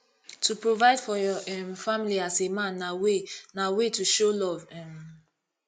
to provide for your um family as a man na way na way to show love um